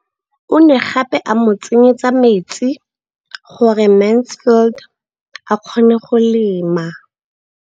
O ne gape a mo tsenyetsa metsi gore Mansfield a kgone go lema.